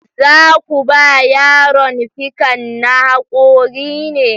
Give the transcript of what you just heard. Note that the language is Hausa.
Za ku ba yaron fikan na haƙori ne?